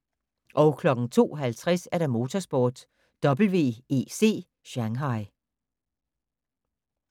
02:50: Motorsport: WEC Shanghai